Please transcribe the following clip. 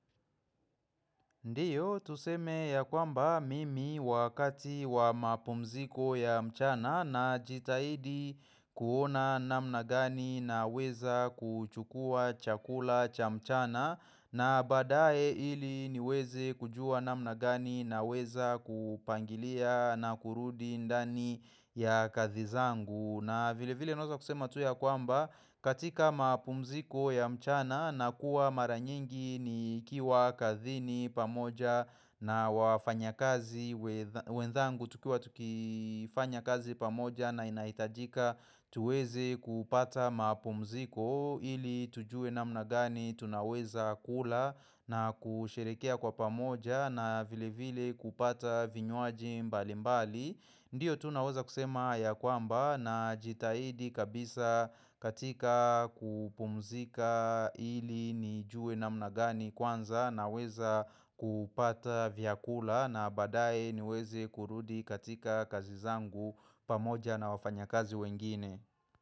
Ndiyo, tuseme ya kwamba mimi wakati wa mapumziko ya mchana najitahidi kuona namna gani naweza kuchukua chakula cha mchana na baadae ili niweze kujua namna gani naweza kupangilia na kurudi ndani ya kazi zangu. Na vile vile naweza kusema tu ya kwamba katika mapumziko ya mchana na kuwa mara nyingi nikiwa kazini pamoja na wafanyakazi wenzangu tukiwa tukifanya kazi pamoja na inahitajika tuweze kupata mapumziko ili tujuwe namna gani tunaweza kula na kusherehekea kwa pamoja na vile vile kupata vinywaji mbali mbali. Ndiyo tu naweza kusema ya kwamba najitahidi kabisa katika kupumzika ili nijue namna gani kwanza naweza kupata vyakula na baadae niweze kurudi katika kazi zangu pamoja na wafanya kazi wengine.